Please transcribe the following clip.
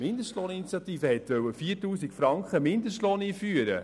Die Mindestlohninitiative wollte einen Mindestlohn von 4000 Franken einführen.